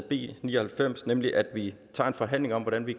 b ni og halvfems nemlig at vi tager en forhandling om hvordan vi